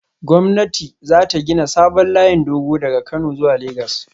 Gwamnati za ta gina sabon layin dogo daga Kano zuwa Legas